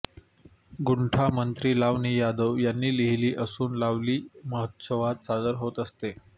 गुंठामंत्री लावणी यादव यांनी लिहिली असून लावणी महोत्सवात सादर होत असते